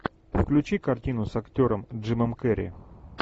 включи картину с актером джимом керри